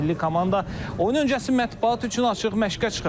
Milli komanda oyun öncəsi mətbuat üçün açıq məşqə çıxıb.